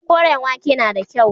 Koren wake yana da kyau.